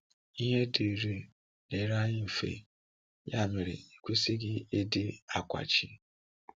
Ihe dịrị dịrị anyị mfe, yà mere ekwesịghị ịdị ákwàchị.